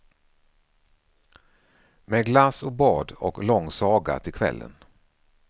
Med glass och bad och lång saga till kvällen.